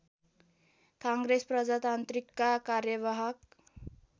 काङ्ग्रेस प्रजातान्त्रिकका कार्यवाहक